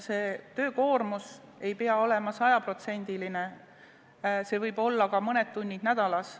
Töökoormus ei pea olema 100%-line, see võib olla ka mõned tunnid nädalas.